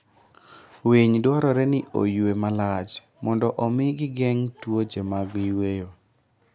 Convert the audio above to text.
Winy dwarore ni oyue malach mondo omi gigeng' tuoche mag yueyo.